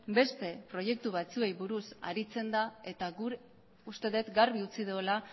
beste proiektu batzuei buruz aritzen da eta guk uste dut garbi utzi duela